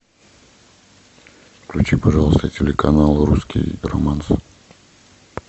включи пожалуйста телеканал русский романс